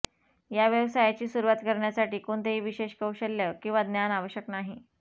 या व्यवसायाची सुरुवात करण्यासाठी कोणतेही विशेष कौशल्य किंवा ज्ञान आवश्यक नाही